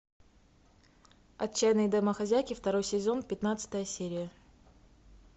отчаянные домохозяйки второй сезон пятнадцатая серия